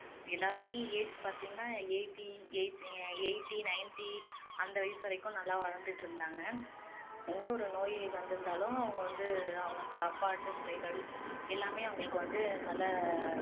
எல்லாருமே age பாத்தீங்கன்னா eighty eight நீங்க eighty ninety அந்த வயசு வரைக்கும் நல்லா வாழ்ந்துட்டு இருந்தாங்க எந்த ஒரு நோய் வந்து இருந்தாலும் அவங்க வந்து அவங்க சாப்பாட்டு முறைகள் எல்லாமே அவங்களுக்கு வந்து நல்ல